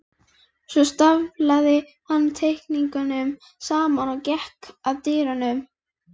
Svo staflaði hann teikningunum saman og gekk að dyrunum.